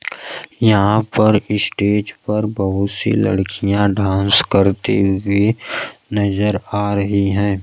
याहां पर स्टेज पर बहुत सी लड़कियां ड्रांस करती हुई नजर आ रही हैं।